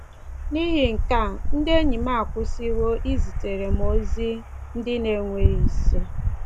N’ihi nke a, ndị enyi m akwụsịwo izitere m ozi ndị na-enweghị isi